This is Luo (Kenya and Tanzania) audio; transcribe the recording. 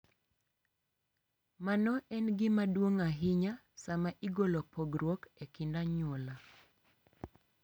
Mano en gima duong’ ahinya sama igolo pogruok e kind anyuola,